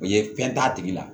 O ye fɛn t'a tigi la